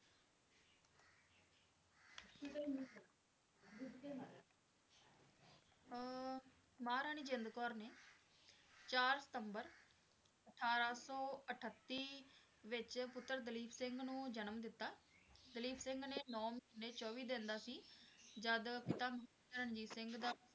ਅਹ ਮਹਾਰਾਣੀ ਜਿੰਦ ਕੌਰ ਨੇ ਚਾਰ ਸਤੰਬਰ ਅਠਾਰਾਂ ਸੌ ਅਠੱਤੀ ਵਿੱਚ ਪੁੱਤਰ ਦਲੀਪ ਸਿੰਘ ਨੂੰ ਜਨਮ ਦਿਤਾ, ਦਲੀਪ ਸਿੰਘ ਅਜੇ ਨੋਂ ਮਹੀਨੇ ਚੌਵੀ ਦਿਨ ਦਾ ਸੀ ਜਦ ਪਿਤਾ ਰਣਜੀਤ ਸਿੰਘ ਦਾ